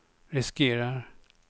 riskerar